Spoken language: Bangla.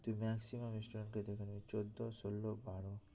তুই maximum student কেই দেখবি চোদ্দ ষোল বারো